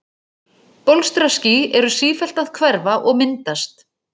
Bólstraský eru sífellt að hverfa og myndast.